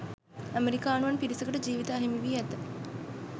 ඇමරිකානුවන් පිරිසකට ජීවිත අහිමිවී ඇත